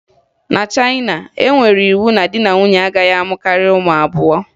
Na Chayịna, e nyere iwu na di na nwunye agaghị amụ karịa ụmụ abụọ